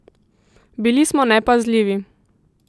Bili smo nepazljivi.